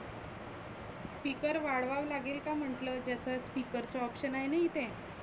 speaker वाढवावा लागेल का म्हटलं? त्याच speaker चं option आहे ना इथे.